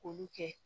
K'olu kɛ